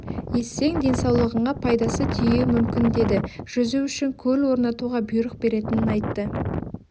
ессең денсаулығыңа пайдасы тиюі мүмкін деді жүзу үшін көл орнатуға бұйрық беретінін айтты